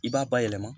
I b'a bayɛlɛma